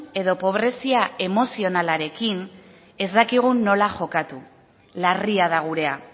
edo pobrezia emozionalarekin ez dakigu nola jokatu larria da gurea